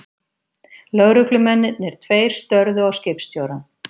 Lögreglumennirnir tveir störðu á skipstjórann.